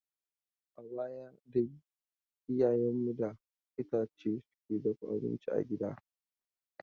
A baya dai iyayen mu da itace suke dafa abincin gidage.